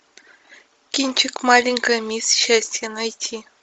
кинчик маленькая мисс счастье найти